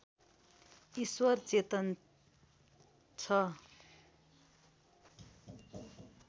ईश्वर चेतन छ